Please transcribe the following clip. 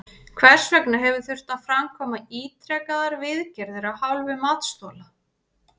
Hvers vegna hefur þurft að framkvæma ítrekaðar viðgerðir af hálfu matsþola?